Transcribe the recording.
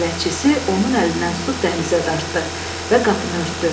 Bələdçisi onun əlindən tutub dəhlizə dartdı və qapını örtdü.